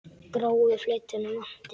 Gráu fletina vanti.